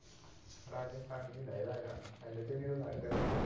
ਰਾਜਸਥਾਨ ਕੀ ਲਹਿਦਾ ਗਾ, ਪਿੰਡ ਚ ਹੋ ਸਕਦੇ ਉਹ ਤਾਂ।